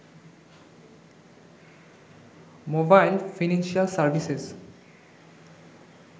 mobile financial services